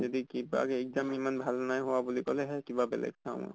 যদি কিবাকে exam ইমান ভাল নাই হোৱা বুলি কলেহে কিবা বেলেগ চাম।